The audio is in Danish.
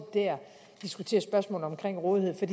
diskuterer spørgsmålet om rådighed der